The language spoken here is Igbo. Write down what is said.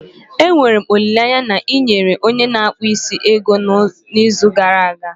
Enwere m olileanya na ị yere onye na akpu isi ego ya n'izu gara aga?